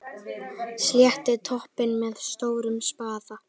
Sléttið toppinn með stórum spaða.